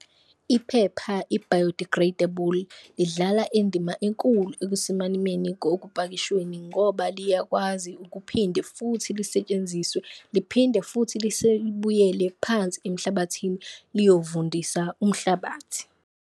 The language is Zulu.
Iphepha i-biodegradable idlala indima enkulu ekusimameni kokupakishweni ngoba liyakwazi ukuphinde futhi lisetshenziswe, liphinde futhi libuyele phansi emhlabathini liyovundisa umhlabathi.